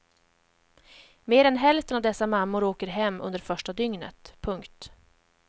Mer än hälften av dessa mammor åker hem under första dygnet. punkt